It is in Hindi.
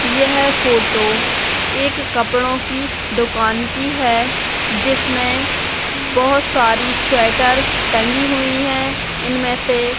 यह फोटो एक कपड़ो की दुकान की है जिसमें बहोत सारी स्वेटर टंगी हुई है इनमे से --